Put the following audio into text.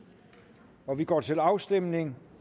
og vi går til afstemning